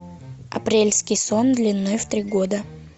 апрельский сон длиной в три года